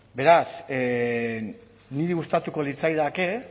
beraz niri gustatuko litzaidake